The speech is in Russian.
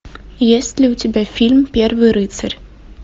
есть ли у тебя фильм первый рыцарь